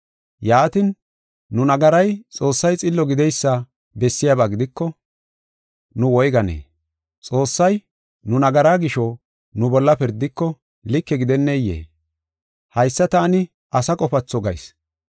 Yaatin, nu nagaray Xoossay xillo gideysa bessiyaba gidiko, nu woyganee? Xoossay nu nagaraa gisho, nu bolla pirdiko, like gidenneyee? Haysa taani asa qofatho gayis.